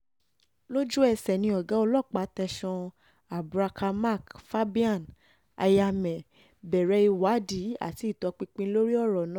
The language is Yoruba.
lójú-ẹsẹ̀ ni ọ̀gá ọlọ́pàá tẹ̀sán abraka mark fabian aya meh bẹ̀rẹ̀ ìwádìí àti ìtọpinpin lórí ọ̀rọ̀ náà